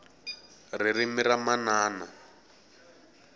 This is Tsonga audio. ririmi ra manana